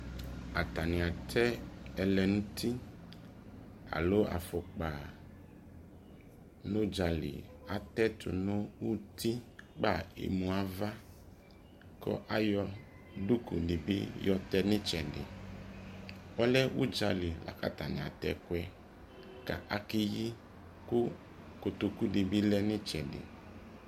atane atɛ ɛlɛnuti alo afokpa no udzali atɛ to no utikpa emu ava ko ayɔ duku nebi yɔtɛ no etsedi ɔlɛ udzali la ko atane atɛ ɛkoɛ ko akeyi ko kotoku nebi lɛ no etsɛdi